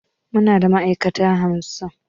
Muna da ma'aikata hamsin